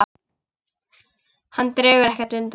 Hún dregur ekkert undan.